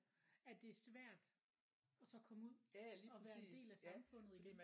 At det er svært og så komme ud og være en del af samfundet igen